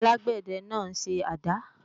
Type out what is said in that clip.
alágbẹ̀dẹ náà ń ṣe àdá